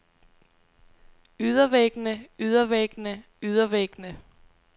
ydervæggene ydervæggene ydervæggene